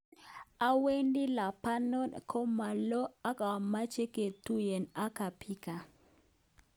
Awendi Lebanon ko ma lo ak apache ketugen ak kabika."